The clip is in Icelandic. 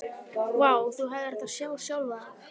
Vá, þú hefðir átt að sjá sjálfan þig.